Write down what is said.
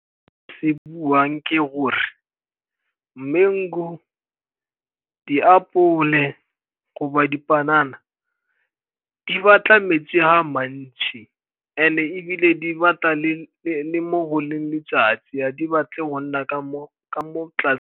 Se buang ke gore mango, diapole goba dipanana di batla metsi a mantsi and-e ebile di batla le mo go leng letsatsi, ga di batle go nna ka mo.